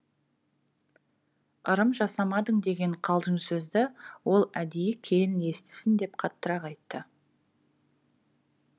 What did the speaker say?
ырым жасамадың деген қалжың сөзді ол әдейі келін естісін деп қаттырақ айтты